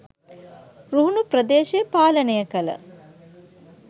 රුහුණු ප්‍රදේශය පාලනය කළ